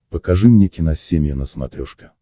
покажи мне киносемья на смотрешке